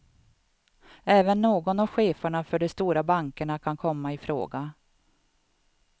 Även någon av cheferna för de stora bankerna kan komma i fråga.